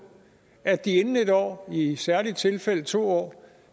at de inden et år i i særlige tilfælde to år